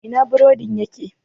Ina burodin yake?